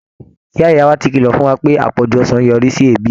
Ìyá ìyá wa ti kìlọ̀ fún wa pé àpọ̀jù ọsàn ń yọrí sí ebi